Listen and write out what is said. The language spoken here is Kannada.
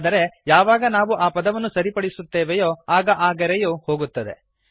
ಆದರೆ ಯಾವಾಗ ನಾವು ಆ ಪದವನ್ನು ಸರಿಪಡಿಸುತ್ತೇವೆಯೋ ಆಗ ಆ ಗೆರೆಯು ಹೋಗುತ್ತದೆ